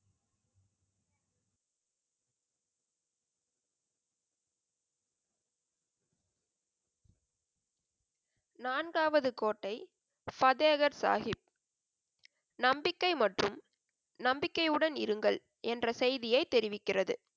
நான்காவது கோட்டை பதேகர் சாஹிப். நம்பிக்கை மற்றும் நம்பிக்கையுடன் இருங்கள் என்ற செய்தியை தெரிவிக்கிறது.